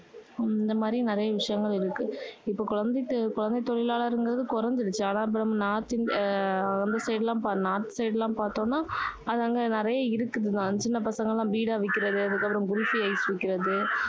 ஹம் இந்த மாதிரி நிறைய விஷயங்கள் இருக்கு. இப்போ குழந்தை குழந்தை தொழிலாளர்ங்கிறது குறைஞ்சிடுச்சு. ஆனால் அப்பறம் north இந்தி~ அந்த side லாம் north side லாம் பார்த்தோம்னா அது அங்க நிறைய இருக்குது தான். சின்ன பசங்க எல்லாம் பீடா விக்கிறது, அதுக்கப்புறம் குல்ஃபி ஐஸ் விக்கிறது,